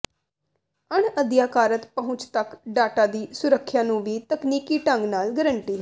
ਅਣਅਧਿਕਾਰਤ ਪਹੁੰਚ ਤੱਕ ਡਾਟਾ ਦੀ ਸੁਰੱਖਿਆ ਨੂੰ ਵੀ ਤਕਨੀਕੀ ਢੰਗ ਨਾਲ ਗਰੰਟੀ ਹੈ